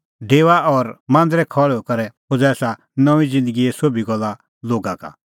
डेओआ और मांदरे खल़्हुई करै खोज़ा एसा नऊंईं ज़िन्दगीए सोभी गल्ला लोगा का